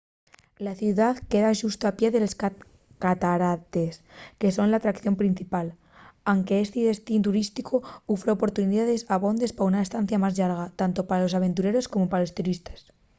la ciudá queda xusto al pie de les catarates que son l’atracción principal anque esti destín turísticu ufre oportunidaes abondes pa una estancia más llarga tanto pa los aventureros como pa los turistes